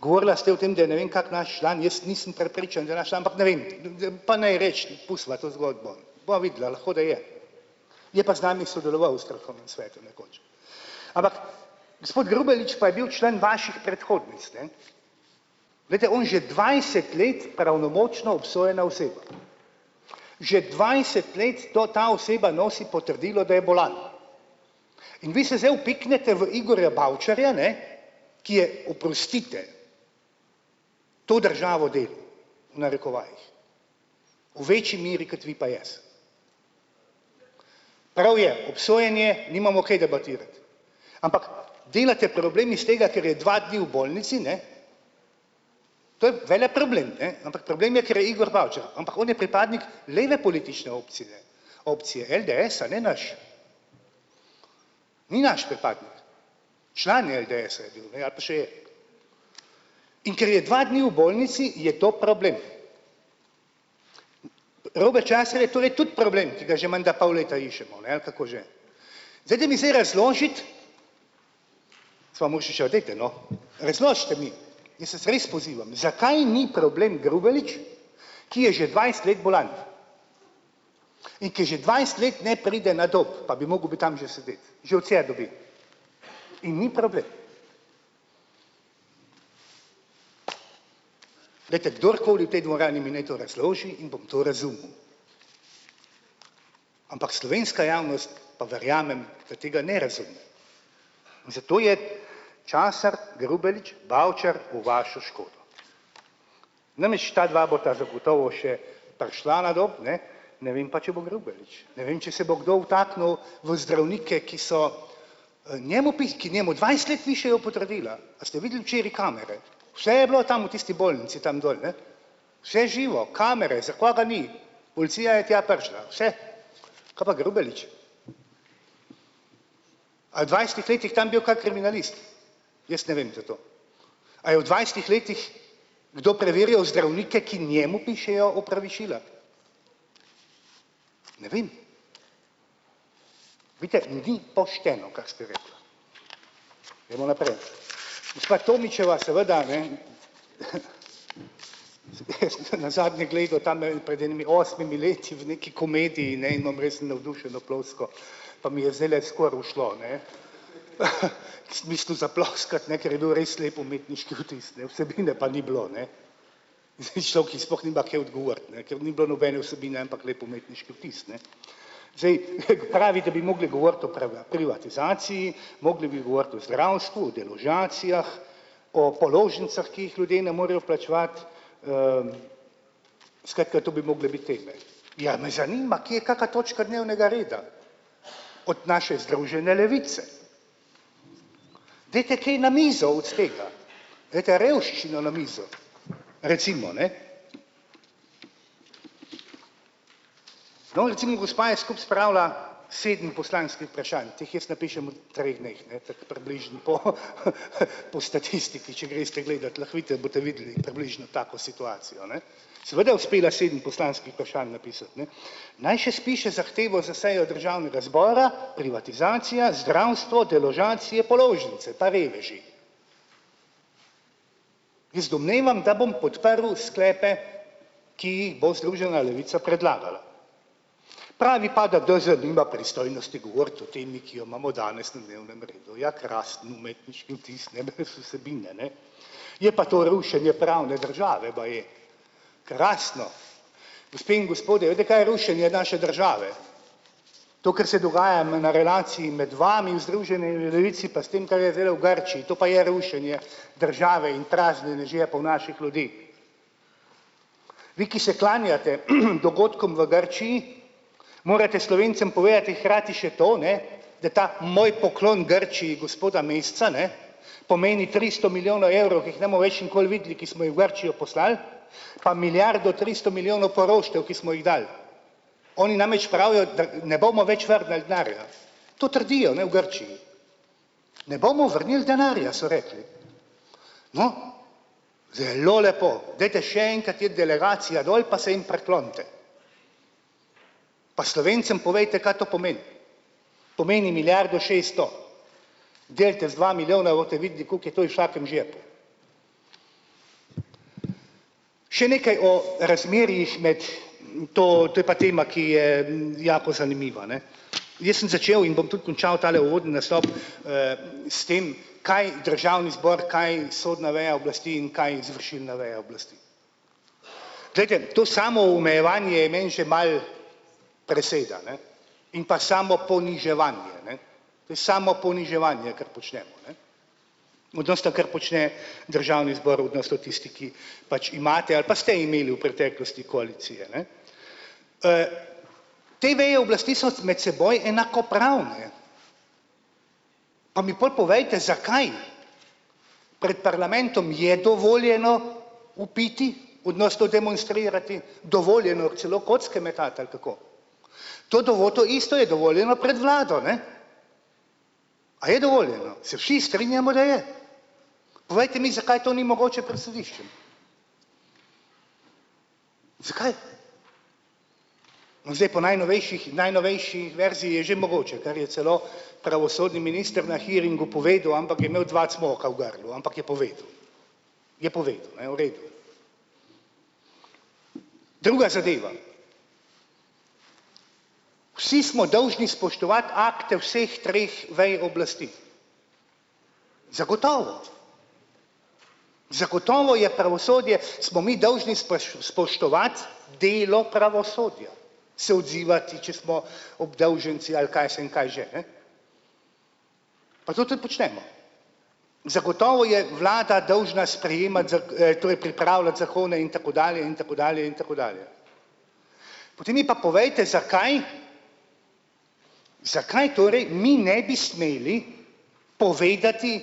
Govorila ste o tem, da je, ne vem, kako naš član, jaz nisem prepričan, da je naš član, ampak ne vem, pa naj reči, pustiva to zgodbo, bova videla, lahko, da je. Je pa z nami sodeloval v strokovnem svetu nekoč. Ampak gospod Grubelič pa je bil član vaših predhodnic, ne. Glejte, oni že dvajset let pravnomočno obsojena oseba. Že dvajset let to ta oseba nosi potrdilo, da je bolan. In vi se zdaj vpiknete v Igorja Bavčarja, ne, ki je, oprostite, to državo delal, v narekovajih, v večji meri kot vi pa jaz. Prav je, obsojen je, nimamo kaj debatirati. Ampak delate problem iz tega, ker je dva dni v bolnici, ne, to je veleproblem, ne, ampak problem je, ker je Igor Bavčar, ampak on je pripadnik leve politične opcije, opcije LDS-a, ne naš. Ni naš pripadnik. Član LDS-a je bil ali pa še je. In ker je dva dni v bolnici, je to problem. Robert Časar je torej tudi problem, ki ga že menda pol leta iščemo, ne, ali kako že. Dajte mi zdaj razložiti, gospa Muršičeva, dajte, no, razložite mi, jaz vas res pozivam, zakaj ni problem Grubelić, ki je že dvajset let bolan in ki že dvajset let ne pride na Dob, pa bi mogel bi tam že sedeti, že odsedel bi in ni problem. Glejte, kdorkoli v tej dvorani mi naj to razloži in bom to razumel. Ampak slovenska javnost pa verjamem, da tega ne razume. Zato je Časar, Grubelić, Bavčar v vašo škodo. Namreč ta dva bosta zagotovo še prišla na Dob, ne, ne vem, pa če bo Grubelić, ne vem, če se bo kdo vtaknil v zdravnike, ki so, njemu ki njemu dvajset let pišejo potrdila. A ste videli včeraj kamere? Vse je bilo tam v tisti bolnici tam dol, ne, vse živo, kamere, zakaj ga ni, policija je tja prišla, vse, kaj pa Grubelić? A je v dvajsetih letih tam bil kak kriminalist? Jaz ne vem za to. A je v dvajsetih letih kdo preverjal zdravnike, ki njemu pišejo opravičila? Ne vem. Vidite ljudi, pošteno, kar ste rekla. Gremo naprej. Gospa Tomićeva, seveda ne. Jaz sem te nazadnje gledal tam pred enimi osmimi leti v neki komediji in, ej, imam res navdušeno ploskal pa mi je zdajle skoraj ušlo, a ne, ki sem mislil zaploskati, ne, ker je bil res lep umetniški vtis, ne, vsebine pa ni bilo, ne, in zdaj človek je sploh nima kaj odgovoriti, ne, ker ni bilo nobene vsebine, ampak lep umetniški vtis, ne. Zdaj pravi, da bi mogli govoriti o privatizaciji, mogli bi govoriti o zdravstvu, deložacijah, o položnicah, ki jih ljudje ne morejo plačevati, skratka, to bi mogle biti teme. Ja, me zanima, kje je kaka točka dnevnega reda od naše združene levice, dajte kaj na mizo od tega, daj revščino na mizo recimo, ne. No, recimo gospa je skupaj spravila sedem poslanskih vprašanj, ti jih jaz napišem v treh dneh, ne, tako približno po po statistiki, če greste gledat, lahko vidite, boste videli približno tako situacijo, ne. Seveda je uspela sedem poslanskih vprašanj napisati, ne. Naj še spiše zahtevo za sejo državnega zbora: privatizacija, zdravstvo, deložacije, položnice pa reveži. Jaz domnevam, da bom podprl sklepe, ki jih bo združena levica predlagala. Pravi pa, da DZ nima pristojnosti govoriti o temi, ki jo imamo danes na dnevnem redu, ja, krasen umetniški vtis, ne, brez vsebine, ne. Je pa to rušenje pravne države baje krasno. Gospe in gospodje, veste, kaj je rušenje naše države? To, kar se dogaja na relaciji med vami v združeni levici pa s tem, kar je delal v Grčiji, to pa je rušenje države in praznjenje žepov naših ljudi. Vi, ki se klanjate dogodkom v Grčiji, morete Slovencem povedati hkrati še to, ne, da ta moj poklon Grčiji gospoda Meseca ne pomeni tristo milijonov evrov, ki jih ne bomo več nikoli videli, ki smo jih v Grčijo poslali, pa milijardo tristo milijonov poroštev, ki smo jih dali, oni namreč pravijo, da ne bomo več vrnili denarja, to trdijo, ne, v Grčiji. "Ne bomo vrnili denarja," so rekli. No, zelo lepo, dajte še enkrat te delegacije dol pa se jim priklonite. Pa Slovencem povejte, kaj to pomeni. Pomeni, milijardo šeststo delite z dva milijona, boste, koliko je to v vsakem žepu. Še nekaj o razmerjih med, to to je pa tema, ki je jako zanimiva, ne, jaz sem začel in bom tudi končal tale uvodni nastop, s tem kaj državni zbor, kaj sodna veja oblasti in kaj izvršilna veja oblasti. Glejte, to samoomejevanje je meni že malo preseda, ne, in pa samoponiževanje, ne, to je samoponiževanje, kar počnemo, ne. Odnosno, kar počne državni zbor v, pač imate ali pa ste imeli v preteklosti koalicije, ne. Te veje oblasti so med seboj enakopravne. Pa mi pol povejte, zakaj. Pred parlamentom je dovoljeno vpiti odnosno demonstrirati, dovoljeno je celo kocke metati, ali kako. To do voto isto je dovoljeno pred vlado, ne. A je dovoljeno? Se vsi strinjamo, da je. Povejte mi, zakaj to ni mogoče pred sodiščem? Zakaj? No, zdaj po najnovejših najnovejši verziji že mogoče, kar je celo pravosodni minister na hearingu povedal, ampak je imel dva cmoka v grlu, ampak je povedal. Je povedal, ne, v redu. Druga zadeva. Vsi smo dolžni spoštovati akte vseh treh vej oblasti. Zagotovo. Zagotovo je pravosodje, smo mi dolžni spoštovati delo pravosodja, se odzivati, če smo obdolženci ali kaj jaz vem, kaj že ne. Pa to tudi počnemo. Zagotovo je vlada dolžna sprejemati to je pripravljati zakone in tako dalje in tako dalje in tako dalje. Potem mi pa povejte, zakaj, zakaj torej mi ne bi smeli povedati,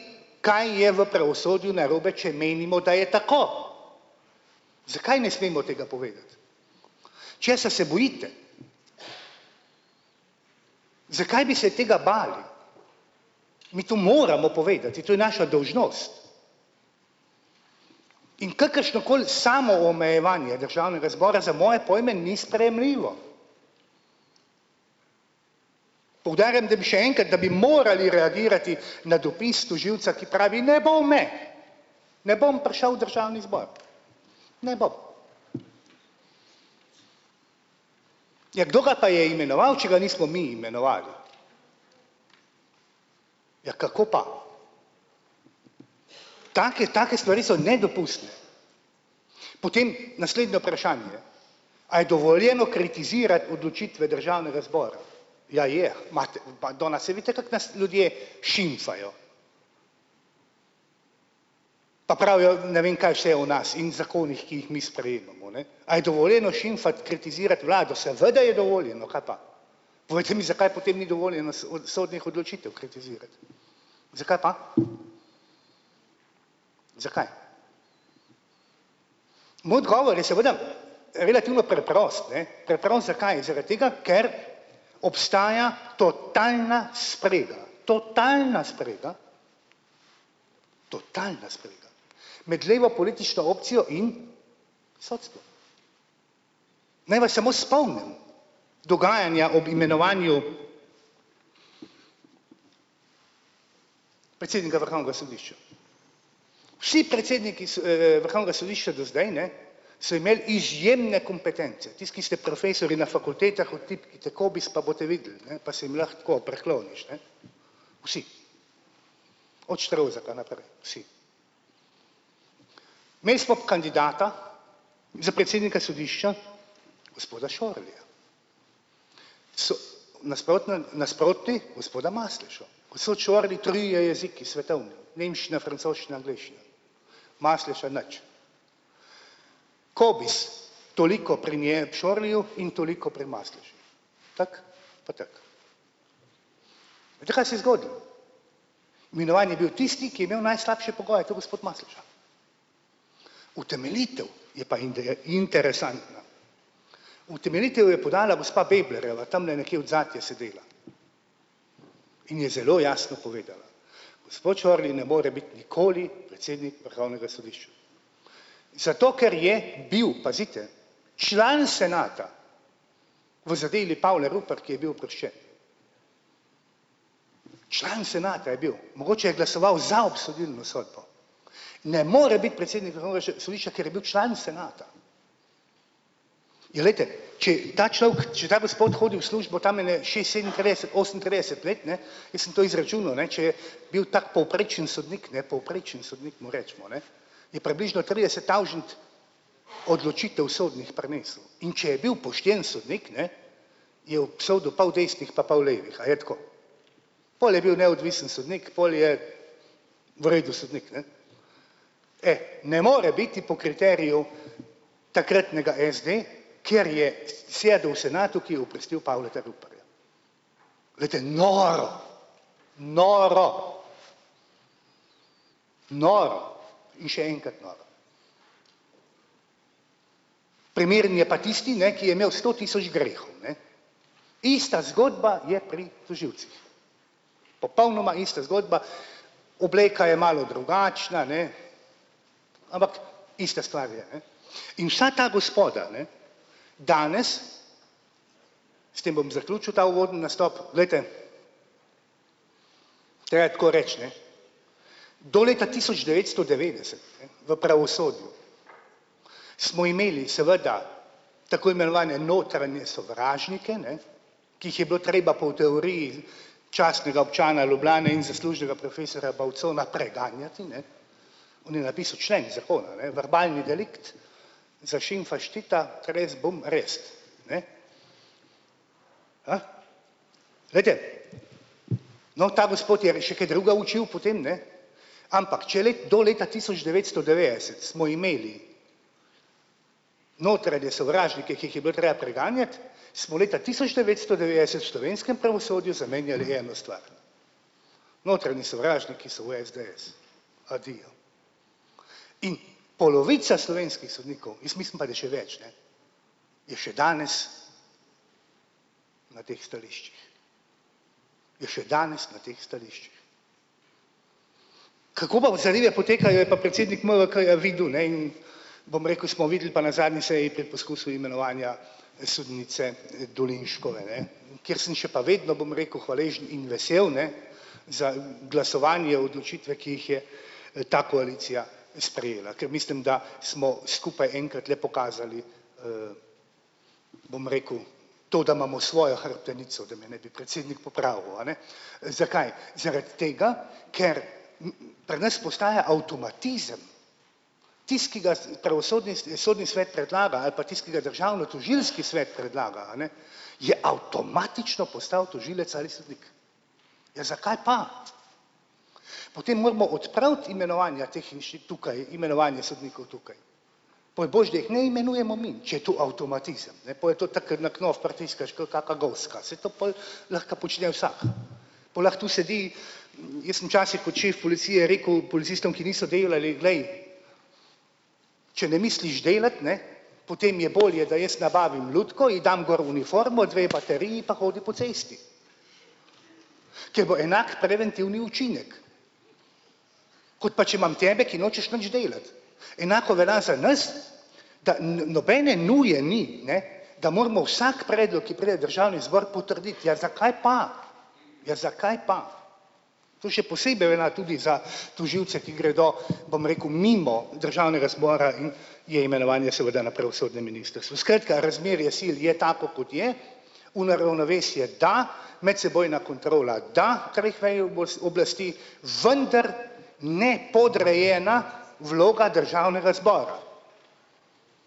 kaj je v pravosodju narobe, če menimo, da je tako. Zakaj ne smemo tega povedati? Česa se bojite? Zakaj bi se tega bali? Mi to moramo povedati, to je naša dolžnost. In kakršnokoli samoomejevanje državnega zbora za moje pojme ni sprejemljivo. Poudarjam, da bi še enkrat, da bi morali reagirati na dopis tožilca, ki pravi: "Ne bo me, ne bom prišel v državni zbor." Ne bom. Ja, kdo ga pa je imenoval, če ga nismo mi imenovali? Ja, kako pa? Take take stvari so nedopustne. Potem naslednje vprašanje. A je dovoljeno kritizirati odločitve državnega zbora? Ja, je madona, saj vidite, kako nas ljudje šimfajo. Pa pravijo ne vem kaj vse o nas in zakonih, ki jih mi sprejemamo, ne, a je dovoljeno šimfati, kritizirati vlado. Seveda je dovoljeno, kaj pa. Povejte mi, zakaj potem ni dovoljeno od sodnih odločitev kritizirati. Zakaj pa? Zakaj? Moj odgovor je seveda relativno preprost, ne. Preprost zakaj, zaradi tega, ker obstaja totalna sprega, totalna sprega, totalna sprega med levo politično opcijo in sodstvom. Naj vas samo spomnim dogajanja ob imenovanju predsednika vrhovnega sodišča. Vsi predsedniki vrhovnega sodišča do zdaj, ne, so imeli izjemne kompetence tisti, ki ste profesorji na fakultetah, vtipkajte Cobiss pa boste videli, ne, pa se jim lahko tako prikloniš, ne. Vsi. Od Štrovzeka naprej, vsi. Imeli smo kandidata za predsednika sodišča gospoda Šorerja. nasprotno nasproti gospoda Maslešo trije jeziki svetovni nemščina, francoščina, angleščina, Masleša nič. Cobiss toliko pri njej Čorliju in toliko pri Maslešu. Tako pa tako. Veste, kaj se je zgodilo? Imenovan je bil tisti, ki je imel najslabše pogoje, to je gospod Masleša. Utemeljitev je pa interesantna. Utemeljitev je podala gospa Beblerjeva, tamle nekje odzadaj je sedela, in je zelo jasno povedala: "Gospod Čorli ne more biti nikoli predsednik vrhovnega sodišča." Zato, ker je bil, pazite, član senata v zadevi Pavle Rupert, ki je bil oproščen. Član senata je bil, mogoče je glasoval za obsodilno sodbo, ne more biti predsednik vrhovnega sodišča, ker je bil član senata. Ja, glejte, če ta človek, če ta gospod hodi v službo tam ene šest-, sedeminpetdeset, oseminpetdeset let, ne, jaz sem to izračunal, ne, če je bil tako povprečen sodnik, ne, povprečen sodnik mu recimo, ne, je približno trideset tavžent odločitev sodnih prenesel, in če je bil pošten sodnik, ne, je obsodil pol desnih pa pol levih, a je tako. Pol je bil neodvisen sodnik, pol je v redu sodnik, ne. E, ne more biti po kriteriju takratnega SD, ker je sedel v senatu, ki je oprostil Pavleta Ruparja. Glejte, noro, noro. Noro in še enkrat noro. Primeren je pa tisti ne, ki je imel sto tisoč grehov. Ista zgodba je pri tožilcih. Popolnoma ista zgodba, obleka je malo drugačna, ne, ampak ista stvar je, ne, in za ta gospoda, ne, danes s tem bom zaključil ta uvodni nastop, glejte, treba je tako reči, ne, do leta tisoč devetsto devetdeset v pravosodju smo imeli seveda tako imenovane notranje sovražnike, ne, ki jih je bilo treba po teoriji častnega občana Ljubljane in zaslužnega profesorja Bavcona preganjati, ne, on je napisal člen zakona, ne, verbalni delikt, zašimfaš Tita, res bom res, ne. Glejte, no, ta gospod je še kaj drugega učil potem, ne, ampak če do leta tisoč devetsto devetdeset smo imeli notranje sovražnike, ki jih je bilo treba preganjati, smo leta tisoč devetsto devetdeset slovenskem pravosodju zamenjali eno stvar. Notranji sovražniki so v SDS, adijo, in polovica slovenskih sodnikov, jaz mislim pa, da še več, ne, je še danes na teh stališčih. Je še danes na teh stališčih. Kako pa zadeve potekajo, je pa predsednik MVK-ja videl, ne, in bom rekel, smo videli pa na zadnji seji pred poskusom imenovanja sodnice Dolinškove, ne, kjer sem še pa vedno, bom rekel, hvaležni in vesel, ne, za glasovanje odločitve, ki jih je, ta koalicija sprejela, ker mislim, da smo skupaj enkrat le pokazali, bom rekel, to, da imamo svojo hrbtenico, da me ne bi predsednik popravil, a ne, Zakaj? Zaradi tega, ker pri nas postaja avtomatizem, tisti, ki ga pravosodni sodni svet predlaga, ali pa tisti, ki ga državnotožilski svet predlaga, a ne, je avtomatično postal tožilec ali sodnik. Ja, zakaj pa? Potem moramo odpraviti imenovanja teh tukaj imenovanje sodnikov tukaj. Pol boljše, da jih ne imenujemo mi, če je to avtomatizem, ne, pol je to tako, ker na knof pritiskaš ke kaka goska, saj to pol lahko počne vsak. Pol lahko tu sedi, jaz sem včasih kot šef policije rekel policistom, ki niso delali: "Glej, če ne misliš delati, ne, potem je bolje, da jaz nabavim lutko, ji dam gor uniformo, dve bateriji pa hodi po cesti, ker bo enak preventivni učinek, kot pa če imam tebe, ki nočeš nič delati." Enako velja za nas, da nobene nuje ni, ne, da moramo vsak predlog, ki pride v državni zbor, potrditi, ja, zakaj pa, ja, zakaj pa? To še posebej velja tudi za tožilce, ki gredo, bom rekel, mimo državnega zbora in je imenovanje seveda na pravosodnem ministrstvu, skratka, razmerje sil je tako, kot je, v neravnovesje, da medsebojna kontrola, da kar jih ne oblasti, vendar ne podrejena vloga državnega zbora.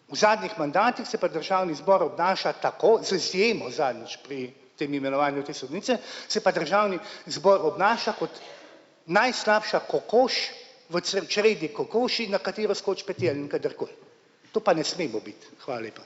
V zadnjih mandatih se pa državni zbor obnaša tako, z izjemo zadnjič pri tem imenovanju te sodnice se pa državni zbor obnaša kot najslabša kokoš v čredi kokoši, na katero skoči petelin kadarkoli. To pa ne smemo biti. Hvala lepa.